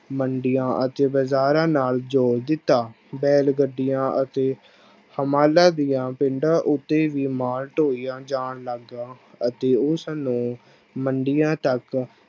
ਮੰਡੀਆਂ ਅਤੇ ਬਾਜ਼ਾਰਾਂ ਨਾਲ ਜੋੜ ਦਿੱਤਾ, ਬੈਲ ਗੱਡੀਆਂ ਅਤੇ ਦੀਆਂ ਉੱਤੇ ਵੀ ਮਾਲ ਢੋਇਆ ਜਾਣ ਲੱਗਿਆ ਅਤੇ ਉਸਨੂੰ ਮੰਡੀਆਂ ਤੱਕ